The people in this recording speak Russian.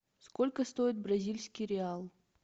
сколько стоит бразильский реал